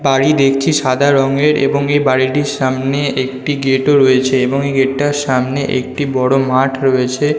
বাড়ি দেখছি সাদা রঙেরএবং এই বাড়িটির সামনে একটি গেট - ও রয়েছেএবং এই গেট - টার সামনে একটি বড় মাঠ রয়েছে --